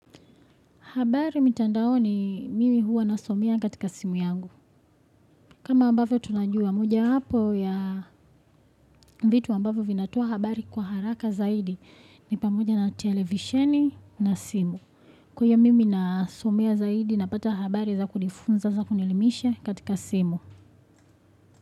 Habari mitandaoni mimi huwa nasomea katika simu yangu. Kama ambavyo tunajua, mojawapo ya vitu ambavyo vinatoa habari kwa haraka zaidi. Ni pamoja na televisheni na simu. Kwa hiyo uyo mimi nasomea zaidi napata habari za kunifunza za kunilelimisha katika simu.